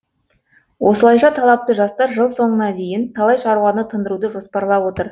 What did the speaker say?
осылайша талапты жастар жыл соңына дейін талай шаруаны тындыруды жоспарлап отыр